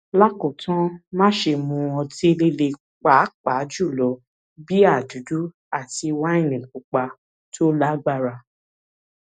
lákòótán máṣe mu ọtí líle pàápàá jùlọ bíà dúdú àti wáìnì pupa tó lágbára